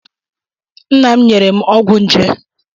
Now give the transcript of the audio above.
Nna m nyere m ọgwụ nje.